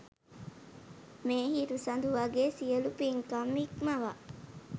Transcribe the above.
මේ හිරු සඳු වගේ් සියලු පින්කම් ඉක්මවා